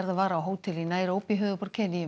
var á hótel í höfuðborg